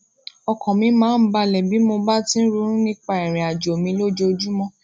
ọkàn mi máa ń bàlè bí mo bá ti ń ronú nípa ìrìn àjò mi lójoojúmó